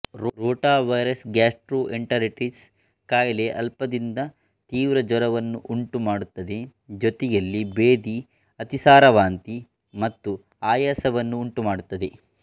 ರೋಟ virus gastroenteritis ಖಾಯಿಲೆಅಲ್ಪದಿಂದ ತೀವ್ರ ಜ್ವರವನ್ನು ಉಂಟುಮಾಡುತ್ತದೆಜೊತೆಯಲ್ಲಿ ಬೇದಿಅತಿಸಾರವಾಂತಿ ಮತ್ತು ಆಯಾಸವನ್ನು ಉಂಟುಮಾಡುತ್ತದೆ